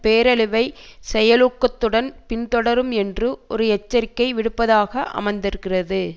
பேரழிவை செயலூக்கத்துடன் பின்தொடரும் என்று ஒரு எச்சரிக்கை விடுப்பதாக அமைந்திருக்கிறது